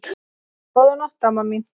Góða nótt, amma mín.